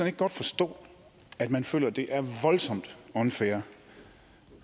ikke godt forstå at man føler at det er voldsomt unfair